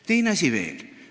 Teine asi veel.